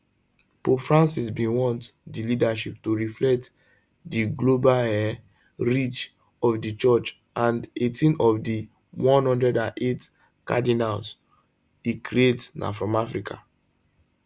pope francis bin want di leadership to reflect di global um reach of di church and 18 of di 108 cardinals e create na from africa